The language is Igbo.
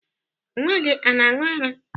Nwa gị ana aṅụ ara?